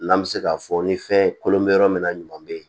N'an bɛ se k'a fɔ ni fɛn kolon bɛ yɔrɔ min na ɲuman bɛ yen